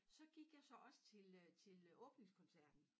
Så gik jeg så også til øh til øh åbningskoncerten